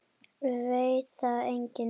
Veit það enginn?